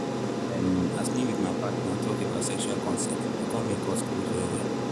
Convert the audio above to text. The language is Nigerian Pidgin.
um as me with my partner talk about sexual consent e come make us close well well.